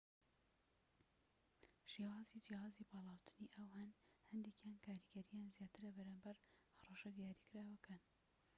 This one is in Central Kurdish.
شێوازی جیاوازی پاڵاوتنی ئاو هەن، هەندێکیان کاریگەریان زیاترە بەرامبەر هەڕەشە دیاریکراوەکان‎